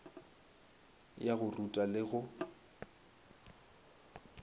ya go ruta le go